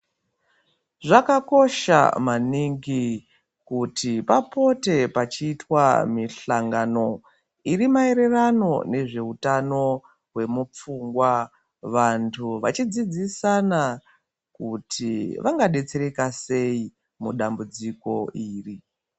Zvakakosha maningi kuti papotwe pachitwa mihlangano irimayererano nezvehutano hwemupfungwa. Vantu vachidzidzidana kuti vangadetsereka seyi mudambudziko iri.